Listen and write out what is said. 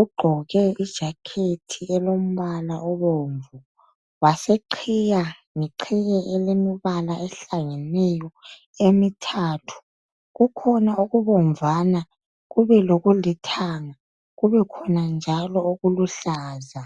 ugqoke ijakhethi elombala obomvu waseqhiya ngeqhiye elomibala ohlangeneyo emithathu kukhona okubomvana kube lokulithanga kube khona njalo okuluhlaza.